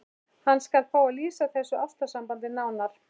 Hann skal fá að lýsa þessu ástarsambandi nánar.